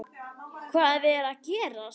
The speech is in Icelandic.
HVAÐ ER AÐ GERAST??